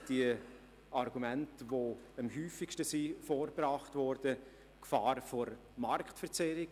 Ich zähle hier die Argumente auf, die am häufigsten vorgebracht worden sind: Gefahr von Marktverzerrung.